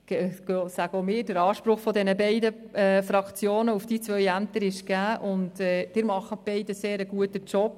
Hier sagen auch wir, dass der Anspruch der beiden Fraktionen auf diese Ämter gegeben ist, und Sie beide machen einen guten Job.